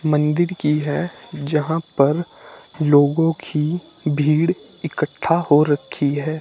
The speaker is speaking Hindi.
मंदिर की है जहां पर लोगों की भीड़ इकट्ठा हो रखी है।